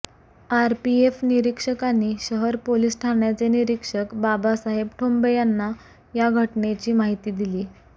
RPF निरीक्षकांनी शहर police ठाण्याचे निरीक्षक बाबासाहेब ठोंबे यांना या घटनेची माहिती दिली